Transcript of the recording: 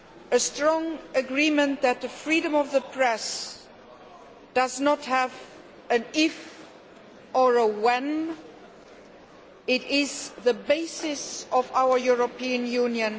a strong agreement that the freedom of the press does not have an if or a when, it is the basis of our European Union.